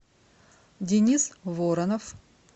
денис воронов